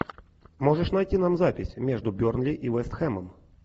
можешь найти нам запись между бернли и вест хэмом